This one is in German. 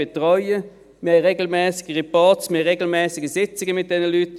Wir haben regelmässige Reportings, regelmässige Sitzungen mit diesen Leuten.